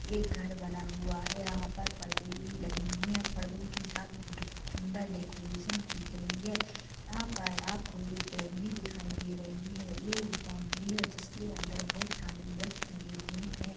एक घर बना हुआ है यहा पर पर्दे भी लगे हुए है पर्दो के साथ एक सुन्दर डेकोरेशन कियी गयी है यहा पर आपको एक ब्यान भी दिखाई दे रही है ये एक बाउंड्री है जिसके अंदर बहुत सारे वृक्ष लगे हुए है।